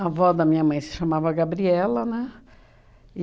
avó da minha mãe se chamava Gabriela, né?